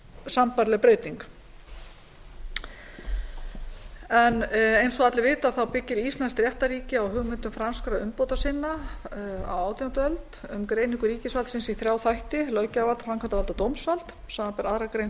sambærileg breyting eins og allir vita byggir íslenskt réttarríki á hugmyndum franskra umbótasinna á átjándu öld um greiningu ríkisvaldsins í þrjá þætti löggjafarvald framkvæmdarvald og dómsvald samanber aðra grein